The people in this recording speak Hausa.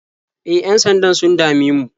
E, yan-sandan sun dame mu.